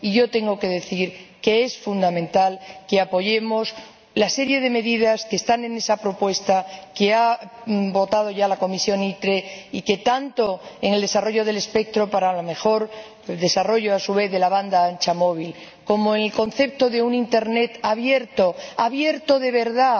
Y yo tengo que decir que es fundamental que apoyemos la serie de medidas que contiene la propuesta que ya ha votado la Comisión de Industria, Investigación y Energía y que, tanto en el desarrollo del espectro para un mejor desarrollo, a su vez, de la banda ancha móvil, como en el concepto de un Internet abierto —abierto de verdad,